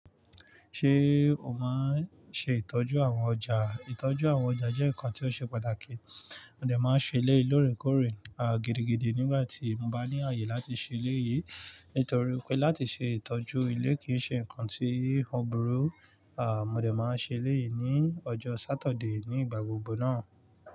Ṣé o máa ń ṣe ìtọ́jú àwọn ọjà? Ìtọ́jú àwọn ọjà jẹ́ nǹkan tí ó ṣe pàtàkì. Mó de máa ń ṣe éleyii lore kórè, gidigidi nígbà tí mo bá ní ààyè láti ṣe éleyìí. Nítorí pé láti ṣe ìtọ́jú ilé kì í ṣe nǹkan tí ó burú. Mó de máa ń ṣe eléyìí ní ọjọ́ Sátọ̀dé ní ìgbà gbogbo náà.